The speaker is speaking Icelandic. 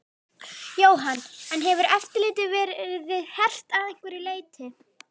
Jóhann: En hefur eftirlitið verið hert að einhverju leyti?